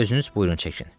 Özünüz buyurun çəkin.